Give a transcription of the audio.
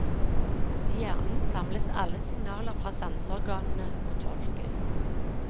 I hjernen samles alle signaler fra sanseorganene og tolkes.